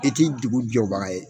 I ti dugu jɔbaga ye